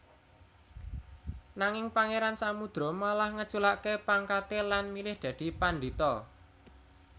Nanging Pangeran Samudro malah ngeculake pangkate lan milih dadi pandhita